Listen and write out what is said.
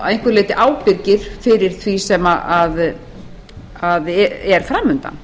að einhverju leyti ábyrgir fyrir því sem er fram undan